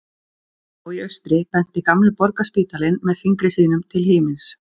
Skammt frá í austri benti gamli Borgarspítalinn með fingri sínum til himins.